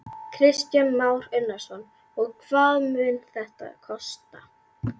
Kristján Már Unnarsson: Og hvað mun þetta kosta?